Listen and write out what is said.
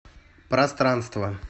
пространство